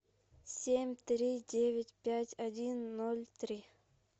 семь три девять пять один ноль три